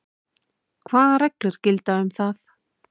Hvað reglur gilda um það?